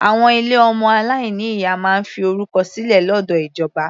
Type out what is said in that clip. Àwọn ilé ọmọ aláìní ìyá máa ń fi orúkọ sílẹ̀ lọ́dọ̀ ìjọba.